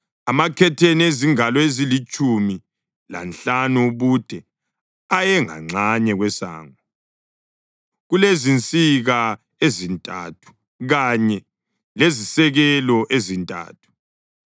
Amakhetheni azingalo ezilitshumi lanhlanu ubude ayenganxanye kwesango, kulezinsika ezintathu kanye lezisekelo ezintathu,